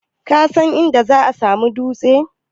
Kasan inda za'a samu dutse?